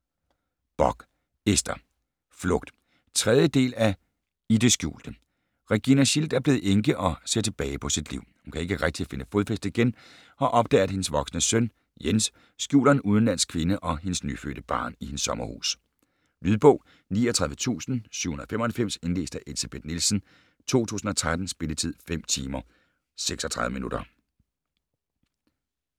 Bock, Ester: Flugt 3. del af I det skjulte. Regina Schildt er blevet enke og ser tilbage på sit liv. Hun kan ikke rigtig finde fodfæste igen og opdager, at hendes voksne søn Jens skjuler en ung udenlandsk kvinde og hendes nyfødte barn i hendes sommerhus. Lydbog 39795 Indlæst af Elsebeth Nielsen, 2013. Spilletid: 5 timer, 36 minutter.